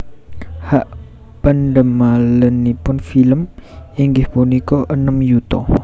Hak pendamelanipun film inggih punika enem yuta